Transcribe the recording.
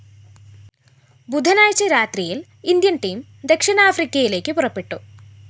ബുധനാഴ്ച രാത്രിയില്‍ Indian‍ team ദക്ഷിണാഫ്രിക്കയിലേക്ക് പുറപ്പെട്ടു